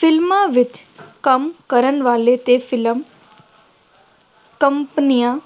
ਫਿਲਮਾਂ ਵਿੱਚ ਕੰਮ ਕਰਨ ਵਾਲੇ ਅਤੇ ਫਿਲਮ ਕੰਪਨੀਆਂ